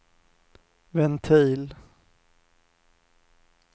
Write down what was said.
ventil